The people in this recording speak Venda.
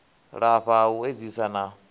lafha ha u edzisa na